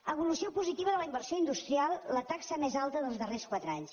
evolució positiva de la inversió industrial la taxa més alta dels darrers quatre anys